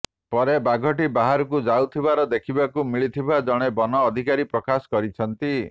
ପରେ ବାଘଟି ବାହାରକୁ ଯାଉଥିବାର ଦେଖିବାକୁ ମିଳିଥିବା ଜଣେ ବନ ଅଧିକାରୀ ପ୍ରକାଶ କରିଛନ୍ତି